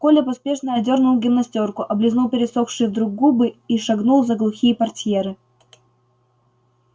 коля поспешно одёрнул гимнастёрку облизнул пересохшие вдруг губы и шагнул за глухие портьеры